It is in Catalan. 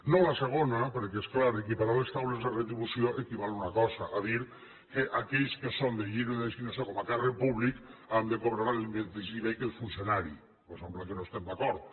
no a la segona perquè és clar equiparar les causes de retribució equival a una cosa a dir que aquells que són de lliure designació com a càrrec públic han de cobrar la del mateix nivell que el funcionari cosa amb la qual no estem d’acord